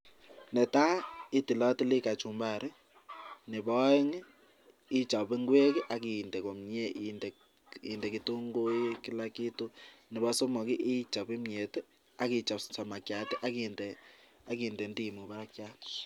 Netai itilotili kachumbari nebo oeng ichob ngwek ak inde komye inde ketunguik, kila kitu nebo somok ichob kimyet ak ichob samakiat ak inde ndimu barakiat.